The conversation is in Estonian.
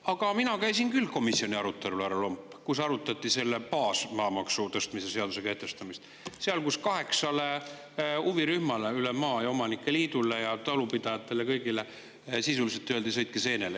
Aga ma käisin küll komisjoni arutelul, härra Lomp, kui arutati seda maamaksu tõstmise seaduse kehtestamist, seal, kus kõigile kaheksale huvirühmale üle maa, omanike liidule ja talupidajatele, sisuliselt öeldi, et sõitke seenele.